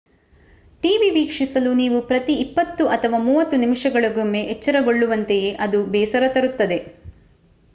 TV ವೀಕ್ಷಿಸಲು ನೀವು ಪ್ರತಿ ಇಪ್ಪತ್ತು ಅಥವಾ ಮೂವತ್ತು ನಿಮಿಷಗಳಿಗೊಮ್ಮೆ ಎಚ್ಚರಗೊಳ್ಳುವಂತೆಯೇ ಅದು ಬೇಸರ ತರುತ್ತದೆ